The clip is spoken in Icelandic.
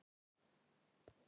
Þá sá hún það.